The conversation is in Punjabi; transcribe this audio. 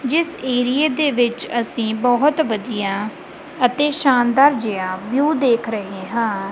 ਜਿਸ ਏਰੀਏ ਵਿੱਚ ਅਸੀਂ ਬਹੁਤ ਵਧੀਆ ਅਤੇ ਸ਼ਾਨਦਾਰ ਜਿਹਾ ਵਿਊ ਦੇਖ ਰਹੇ ਹਾਂ।